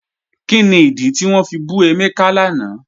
Kíni ìdí tí wọn fi bù Emeka lánà?